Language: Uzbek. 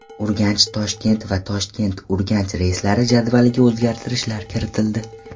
UrganchToshkent va ToshkentUrganch reyslari jadvaliga o‘zgartirishlar kiritildi.